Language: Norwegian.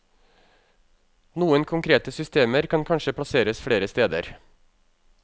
Noen konkrete systemer kan kanskje plasseres flere steder.